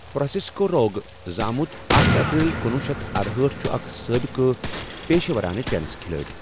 Francisco Roig زامُت اکھَ اَپریٖل کنۄہُ شیتھ ارہأٹھ چھُ اَکھ سٲبِقہٕ پیشہٕ وَرانہٕ ٹینِس کھِلٲڑۍ۔